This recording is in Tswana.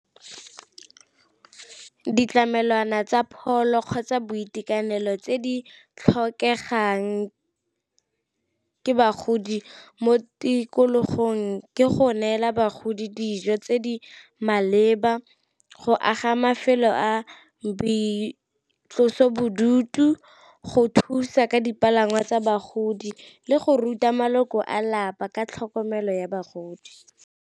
Ditlamelwana tsa pholo kgotsa boitekanelo tse di tlhokegang ke bagodi mo tikologong ke go neela bagodi dijo tse di maleba, go aga mafelo a boitlosobodutu, go thusa ka dipalangwa tsa bagodi le go ruta maloko a lapa ka tlhokomelo ya bagodi.